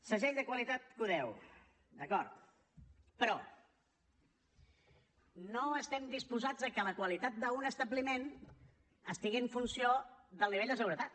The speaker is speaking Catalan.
segell de qualitat q10 d’acord però no estem disposats que la qualitat d’un establiment estigui en funció del nivell de seguretat